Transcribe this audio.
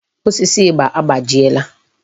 Osisi ịgba agbajiela.